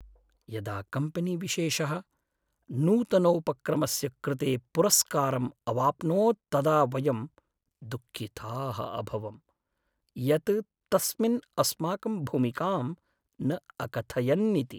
यदा कम्पनीविशेषः नूतनोपक्रमस्य कृते पुरस्कारम् अवाप्नोत् तदा वयं दुःखिताः अभवं, यत् तस्मिन् अस्माकं भूमिकां न अकथयन्निति।